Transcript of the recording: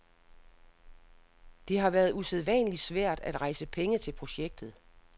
Det har været usædvanligt svært at rejse penge til projektet.